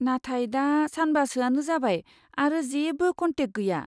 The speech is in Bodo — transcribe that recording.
नाथाय दा सानबासोआनो जाबाय आरो जेबो कन्टेक्ट गैया।